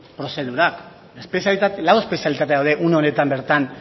prozedurak lau espezialitate daude une honetan bertan